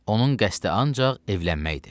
Onun qəsdi ancaq evlənməkdir.